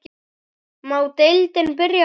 Má deildin byrja bara?